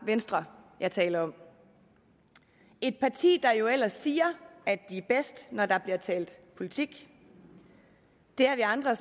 venstre jeg taler om et parti der jo ellers siger at de er bedst når der bliver talt politik det har vi andre